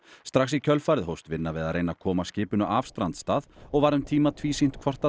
strax í kjölfarið hófst vinna við að reyna að koma skipinu af strandstað og var um tíma tvísýnt hvort